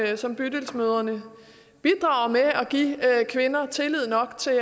det som bydelsmødrene bidrager med altså at give kvinder tillid nok til